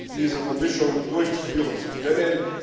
diese Vermischung durchführen zu können.